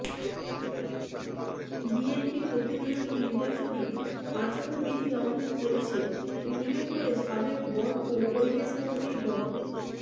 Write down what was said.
BNP প্রতিনিয়ত নির্বাচনী আচরণবিধি লঙ্ঘন করছে উল্লেখ করে সাবেক বন ও পরিবেশ মন্ত্রী ড